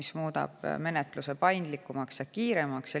See muudab menetluse paindlikumaks ja kiiremaks.